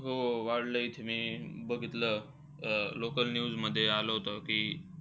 हो, हो. वाढलंय इथे. मी बघितलं local news मध्ये आलं होतं की,